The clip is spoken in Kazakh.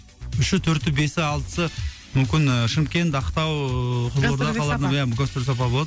үші төрті бесі алтысы мүмкін ы шымкент ақтау ыыы қызылорда иә гастрольдік сапар болады